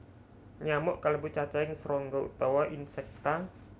Nyamuk kalebu cacahing srangga utawa Insecta